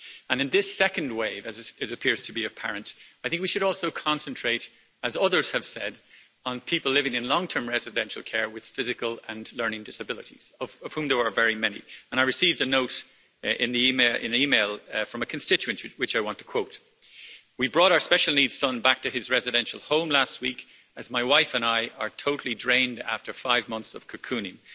In this second wave, as it appears to be apparent, I think we should also concentrate, as others have said, on people living in long term residential care with physical and learning disabilities, of whom there are very many. I received an email from a constituent, which I want to quote we brought our special needs son back to his residential home last week, as my wife and I are totally drained after five months of cocooning.